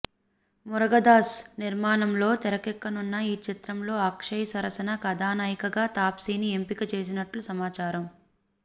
మురగదాస్ నిర్మాణంలో తరకెక్కనున్న ఈ చిత్రంలో అక్షయ్ సరసన కథానాయికగా తాప్సిని ఎంపిక చేసినట్లు సమాచారం